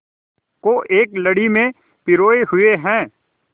को एक लड़ी में पिरोए हुए हैं